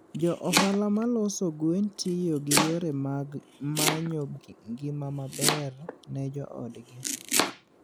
Jo ohala ma loso gwen tiyo gi yore mag manyo ngima maber ne joodgi.